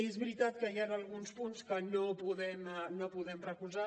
és veritat que hi han alguns punts que no podem recolzar